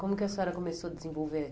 Como que a senhora começou a desenvolver?